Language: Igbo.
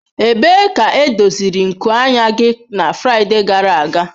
Ebee ka edoziri nku anya gị na Fraịde gara aga?